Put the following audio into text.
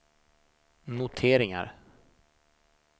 noteringar